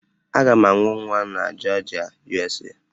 Aga m amụ nwa na Jọọjịa, USA